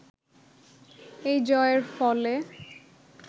এই জয়ের ফলে